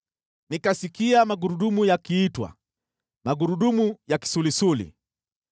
Nikasikia magurudumu yakiitwa, “Magurudumu ya kisulisuli.”